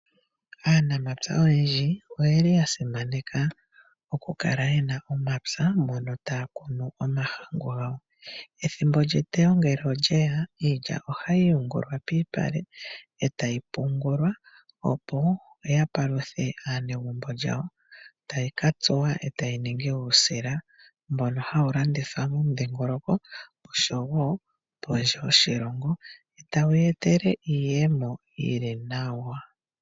Aanamapya oyendji oyeli ya simaneka oku kala yena omapya mono taa kunu omahangu gawo. Ethimbo lyetewo ngele olyeya ohayi yungula piipale opo ya paluthe aanegumbo lyawo. Tayi ka tsuwa etayi ningi uusila. Mbono hawu landithwa pomudhingoloko oshowo pondje yoshilongo. Etawu ye etele iiyemo yili nawa.